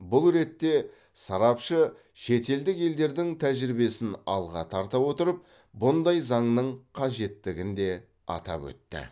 бұл ретте сарапшы шетелдік елдердің тәжірибесін алға тарта отырып бұндай заңның қажеттігін де атап өтті